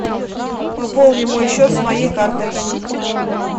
пополни мой счет с моей карты